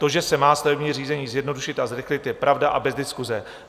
To, že se má stavební řízení zjednodušit a zrychlit, je pravda a bez diskuse.